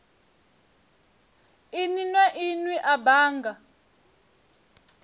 inwe na inwe a bannga